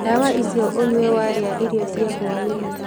Ndawa icio ũnyue warĩa irio cia hwainĩĩ.